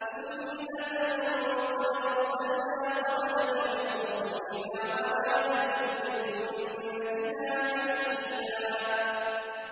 سُنَّةَ مَن قَدْ أَرْسَلْنَا قَبْلَكَ مِن رُّسُلِنَا ۖ وَلَا تَجِدُ لِسُنَّتِنَا تَحْوِيلًا